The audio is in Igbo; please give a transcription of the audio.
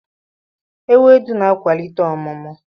Ewedu na-akwalite ọmụmụ.